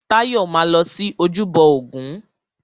Táyọ̀ máa lọ sí ojúbọ ògún.